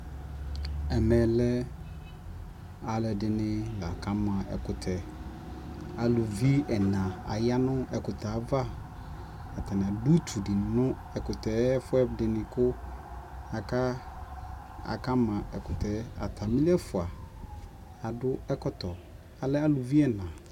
Ɛmɛ lɛ alʋɛdɩnɩ la ka ma ɛkʋtɛ Aluvi ɛna aya nʋ ɛkʋtɛ yɛ ava Atanɩ adʋ utu dɩ nʋ ɛkʋtɛ ayɛfʋɛdɩnɩ kʋ aka, aka ma ɛkʋtɛ yɛ Atamɩ n'ɛfua adʋ ɛkɔtɔ, alɛ aluvi ɛna